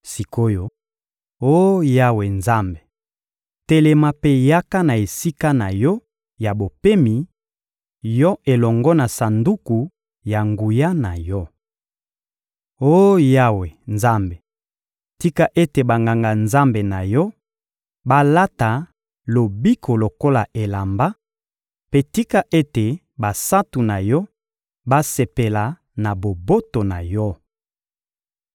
Sik’oyo, oh Yawe Nzambe, telema mpe yaka na esika na Yo ya bopemi, Yo elongo na Sanduku ya nguya na Yo! Oh Yawe Nzambe, tika ete Banganga-Nzambe na Yo balata lobiko lokola elamba; mpe tika ete basantu na Yo basepela na boboto na Yo!